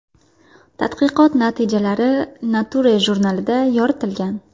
Tadqiqot natijalari Nature jurnalida yoritilgan .